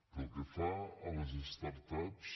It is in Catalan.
pel que fa a les start ups